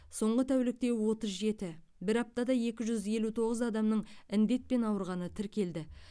соңғы тәулікте отыз жеті бір аптада екі жүз елу тоғыз адамның індетпен ауырғаны тіркелді